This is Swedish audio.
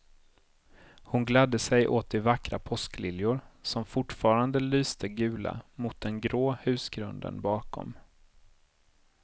Hon gladde sig åt de vackra påskliljor som fortfarande lyste gula mot den grå husgrunden bakom.